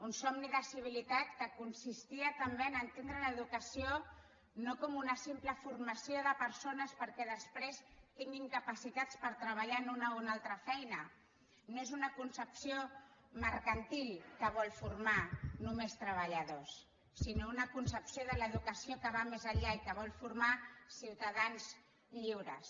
un somni de civilitat que consistia també a entendre l’educació no com una simple formació de persones perquè després tinguin capacitats per treballar en una o una altra feina no és una concepció mercantil que vol formar només treballadors sinó una concepció de l’educació que va més enllà i que vol formar ciutadans lliures